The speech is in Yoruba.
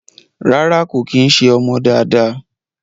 Rárá kò kí ń ṣé ọmọ dáadáa